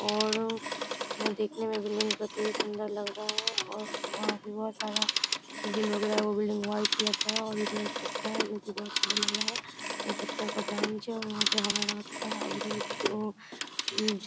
और वो देखने मे बिल्डिंग अति सुन्दर लग रहा है और वो वहाँ पे बहुत सारा मुझे लग रहा है वो बिल्डिंग व्हाइट कलर का है और ये जो एक पत्ता है जो की बहुत सुन्दर लग रहा है | वो पत्ता का ब्रांच है वहां पर हरा-हरा पत्ता है और उधर उ --